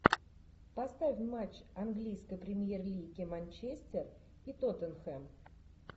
поставь матч английской премьер лиги манчестер и тоттенхэм